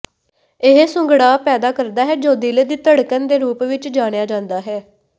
ਇਹ ਸੁੰਗੜਾਅ ਪੈਦਾ ਕਰਦਾ ਹੈ ਜੋ ਦਿਲ ਦੀ ਧੜਕਣ ਦੇ ਰੂਪ ਵਿੱਚ ਜਾਣਿਆ ਜਾਂਦਾ ਹੈ